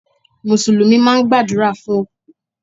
Mùsùlùmí máa ń gbàdúrà fún òkú.